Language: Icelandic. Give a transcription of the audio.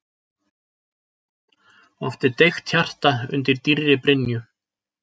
Oft er deigt hjarta undir dýrri brynju.